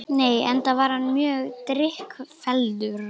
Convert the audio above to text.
Nei, enda var hann mjög drykkfelldur